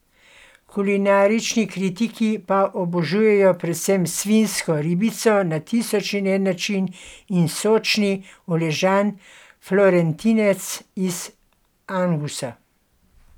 Kulinarični kritiki pa obožujejo predvsem svinjsko ribico na tisoč in en način in sočni, uležan florentinec iz angusa.